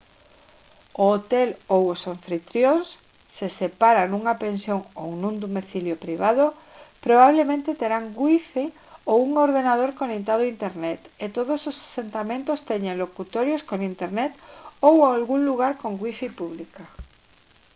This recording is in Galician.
o hotel ou os anfitrións se se para nunha pensión ou nun domicilio privado probablemente terán wifi ou un ordenador conectado a internet e todos os asentamentos teñen locutorios con internet ou algún lugar con wifi pública